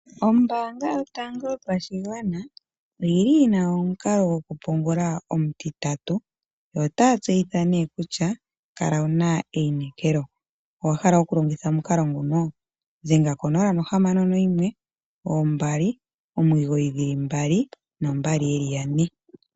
Ombanga yotango yopashigwana oyili yina omukalo gwoku pungula omutitatu. Otaya tseyitha kutya kala wuna eyinekelo owahla okulongitha omukalo nguno dhengo konola nohamano noyimwe ombali omigoyi dhili mbali noombali yeli yane.